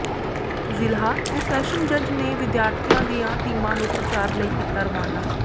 ਜ਼ਿਲ੍ਹਾ ਤੇ ਸੈਸ਼ਨ ਜੱਜ ਨੇ ਵਿਦਿਆਰਥੀਆਂ ਦੀਆਂ ਟੀਮਾਂ ਨੂੰ ਪ੍ਰਚਾਰ ਲਈ ਕੀਤਾ ਰਵਾਨਾ